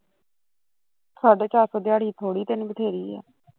ਸਾਢੇ ਚਾਰ ਸੋ ਦਿਆੜੀ ਥੋੜੀ ਤੇਨੂੰ ਵਧੇਰੀ ਆ